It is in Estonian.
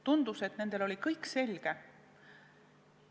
Tundus, et neil oli kõik selge.